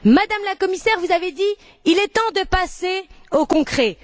Madame la Commissaire, vous avez dit Il est temps de passer au concret.